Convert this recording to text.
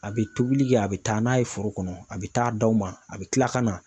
A bɛ tobili kɛ a bɛ taa n'a ye foro kɔnɔ a bɛ taa d'aw ma a bɛ kila ka na